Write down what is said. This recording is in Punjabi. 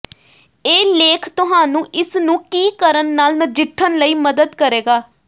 ਇਹ ਲੇਖ ਤੁਹਾਨੂੰ ਇਸ ਨੂੰ ਕੀ ਕਰਨ ਨਾਲ ਨਜਿੱਠਣ ਲਈ ਮਦਦ ਕਰੇਗਾ